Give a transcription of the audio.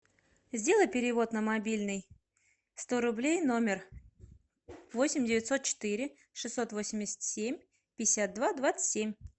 сделай перевод на мобильный сто рублей номер восемь девятьсот четыре шестьсот восемьдесят семь пятьдесят два двадцать семь